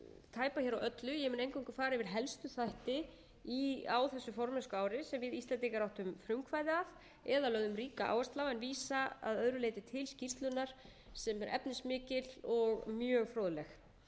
tæpa hér á öllu ég mun eingöngu fara yfir helstu þætti á þessu formennskuári sem við íslendingar áttum frumkvæði að eða lögðum eiga áherslu á en vísa að öðru leyti til skýrslunnar sem er efnismikil og mjög fróðleg